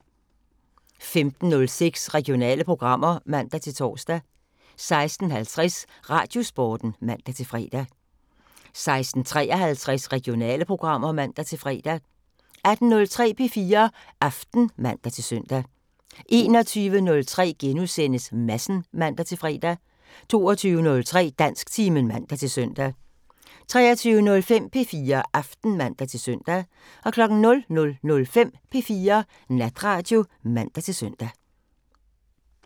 15:06: Regionale programmer (man-tor) 16:50: Radiosporten (man-fre) 16:53: Regionale programmer (man-fre) 18:03: P4 Aften (man-søn) 21:03: Madsen *(man-fre) 22:03: Dansktimen (man-søn) 23:05: P4 Aften (man-søn) 00:05: P4 Natradio (man-søn)